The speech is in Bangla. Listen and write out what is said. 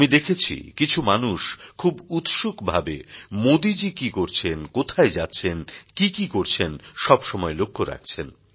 আমি দেখেছি কিছু মানুষ খুব উৎসুকভাবে মোদিজী কি করছেন কোথায় যাচ্ছেন কী কী করছেন সব সময় লক্ষ রাখছেন